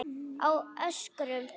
Á Ökrum